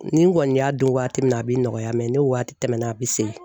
Nin kɔni y'a don waati min na a bɛ nɔgɔya mɛ ni waati tɛmɛna a bɛ segin.